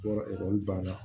Yɔrɔ ekɔli banna